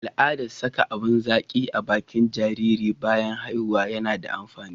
al'adan saka abun zaki a bakin jariri bayan haihuwa na da amfani